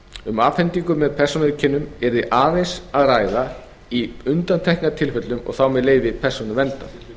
um afhendingu með persónuauðkennum yrði aðeins að ræða í undantekningartilfellum og þá með leyfi persónuverndar